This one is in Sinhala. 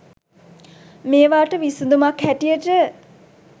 මේවාට විසඳුමක් හැටියට